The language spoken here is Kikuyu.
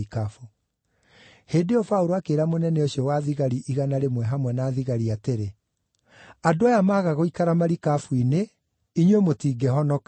Hĩndĩ ĩyo Paũlũ akĩĩra mũnene ũcio wa thigari igana rĩmwe hamwe na thigari atĩrĩ, “Andũ aya maga gũikara marikabu-inĩ, inyuĩ mũtingĩhonoka.”